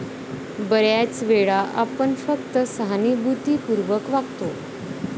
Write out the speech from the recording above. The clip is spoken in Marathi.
बऱ्याच वेळा आपण फक्त सहानुभूतीपूर्वक वागतो.